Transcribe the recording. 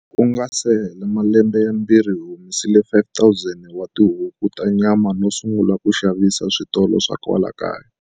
Ku nga se hela malembe yambirhi, hi humelerisile 5 000 wa tihuku ta nyama no sungula ku xavisela switolo swa kwala kaya.